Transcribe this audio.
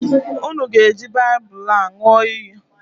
Unu ga-eji Baịbụlụ a ñụọ iyi!